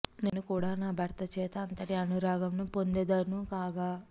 నేను కూడా నా భర్త చేత అంతటి అనురాగమును పొందెదను గాక